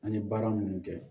An ye baara minnu kɛ